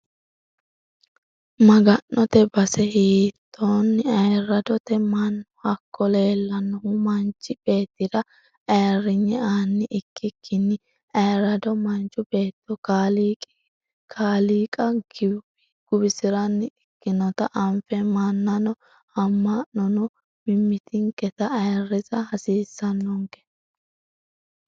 Maga'note base hiitino ayirradote mannu hakko leelanohu manchi beettira ayirrinye aani ikkikkinni ayirrado Manchu beetto kalaqi kaaliiqa guwisiranni ikkinotta anfe mannano ama'nono mimmitinketta ayirrisa hasiisanonke.